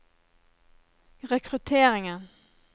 rekrutteringen